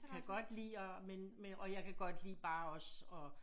Kan godt lide og men men og jeg kan godt lide bare også at